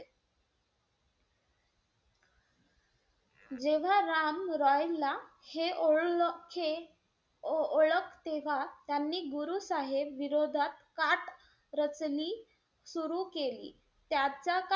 जेव्हा राम रॉयला हे ओलखे~ ओळख तेव्हा त्यांनी गुरु साहेब विरोधात काट रचनी सुरु केली. त्याच्या,